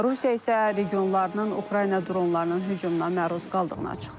Rusiya isə regionlarının Ukrayna dronlarının hücumuna məruz qaldığını açıqlayıb.